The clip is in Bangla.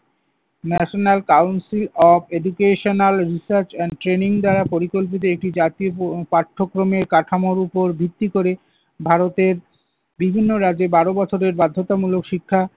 national council of educational research and training দ্বারা পরিকল্পিত একটি জাতীয় প~ পাঠ্যক্রমে কাঠামোর উপর ভিত্তি করে ভারতের বিভিন্ন রাজ্যে বারো বছরের বাধ্যতামূলক শিক্ষা